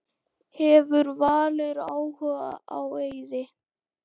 Hefur Valur áhuga á Eiði?